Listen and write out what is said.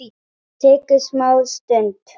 Tekur smá stund.